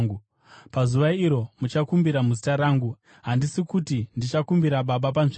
Pazuva iro, muchakumbira muzita rangu. Handisi kuti ndichakumbira Baba panzvimbo yenyu.